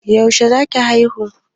Yaushe za ki haihu?